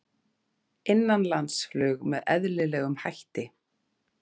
Innanlandsflug með eðlilegum hætti